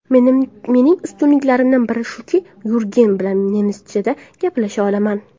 Mening ustunliklarimni bir shuki, Yurgen bilan nemischada gaplasha olaman.